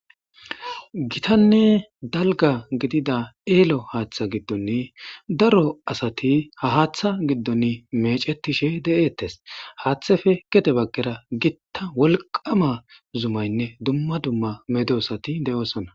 Gitanne elo dalga gidida haththa gidon daro asat mecetishe de'etes. Hatheppe gede bagara gita wolqama zumaynne dumma dumma medosat de'osona.